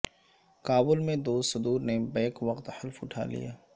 کابل میں دو صدور نے بیک وقت حلف اٹھا لیا